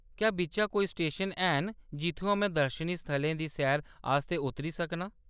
क्या बिच्च कोई स्टेशन हैन जित्थुआं में दर्शनी स्थलें दी सैर आस्तै उतरी सकनां ?